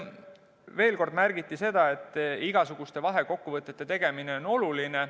Veel kord märgiti seda, et igasuguste vahekokkuvõtete tegemine on oluline.